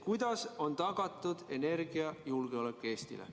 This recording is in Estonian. Kuidas on tagatud Eesti energiajulgeolek?